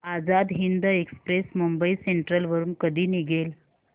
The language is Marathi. आझाद हिंद एक्सप्रेस मुंबई सेंट्रल वरून कधी निघेल